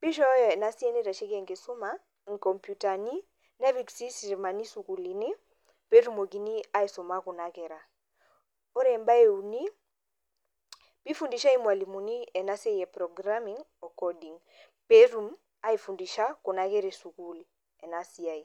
pishooyo ena bae naitashoki enkishuma inkomputani nepik sii sitamani sukuulini peetumoki aisuma kuna kera. Ore embae euni peeifundishai ilmalimuni ena siai e programing o coding peetum aifundisha kuna kera esukuul ena siai.